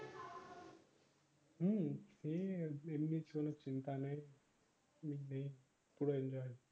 হম